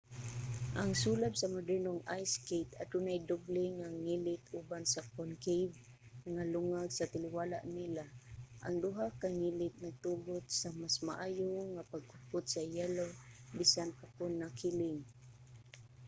ang sulab sa modernong ice skate adunay doble nga ngilit uban sa concave nga lungag sa taliwala nila. ang duha ka ngilit nagtugot sa mas maayo nga pagkupot sa yelo bisan pa kon nakiling